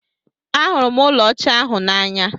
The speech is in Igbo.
Ahụrụ m ụlọ ọcha ahụ n'anya.